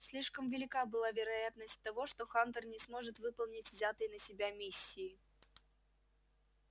слишком велика была вероятность того что хантер не сможет выполнить взятой на себя миссии